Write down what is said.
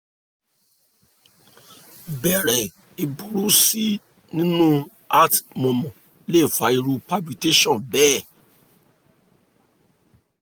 bẹ́ẹ̀ni ìburú sí nínú heart murmur lè fa irú palpitations bẹ́ẹ̀